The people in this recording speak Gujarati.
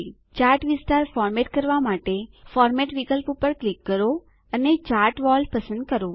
ચાર્ટ વિસ્તાર ફોર્મેટ કરવા માટે ફોર્મેટ વિકલ્પ પર ક્લિક કરો અને ચાર્ટ વૉલ પસંદ કરો